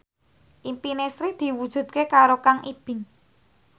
impine Sri diwujudke karo Kang Ibing